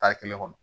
kelen kɔnɔ